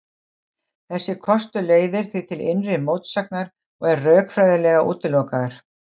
Þessi kostur leiðir því til innri mótsagnar og er rökfræðilega útilokaður.